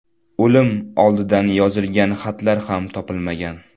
O‘lim oldidan yozilgan xatlar ham topilmagan.